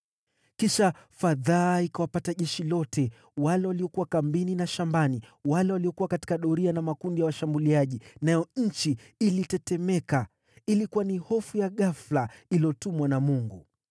Kisha fadhaa ikawapata jeshi lote, wale waliokuwa kambini na shambani, wale waliokuwa katika doria na makundi ya washambuliaji, nayo nchi ilitetemeka. Ilikuwa ni hofu ya ghafula iliyotumwa na Mungu.